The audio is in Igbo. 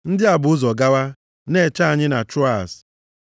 Ndị a bu ụzọ gawa, na-eche anyị na Troas.